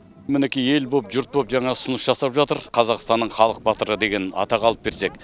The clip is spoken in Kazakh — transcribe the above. мінекей ел болып жұрт болып жаңа ұсыныс жасап жатыр қазақстанның халық батыры деген атақ алып берсек